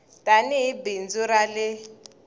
tani hi bindzu ra le